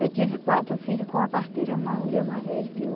Eu tive quatro filhos com a parteira, uma mulher mais velha de que eu.